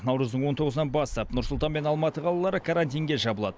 наурыздың он тоғызынан бастап нұр сұлтан мен алматы қалалары карантинге жабылады